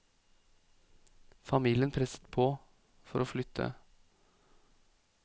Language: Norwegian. Familien presset på for å flytte.